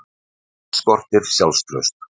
Hann skortir sjálfstraust.